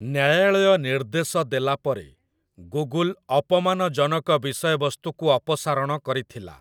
ନ୍ୟାୟାଳୟ ନିର୍ଦ୍ଦେଶ ଦେଲା ପରେ 'ଗୁଗୁଲ୍' ଅପମାନ ଜନକ ବିଷୟବସ୍ତୁକୁ ଅପସାରଣ କରିଥିଲା ।